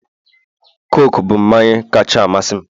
Coke bụ mmanyi kacha amasị m